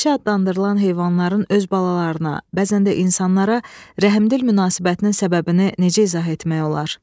Vəhşi adlandırılan heyvanların öz balalarına, bəzən də insanlara rəhmdil münasibətinin səbəbini necə izah etmək olar?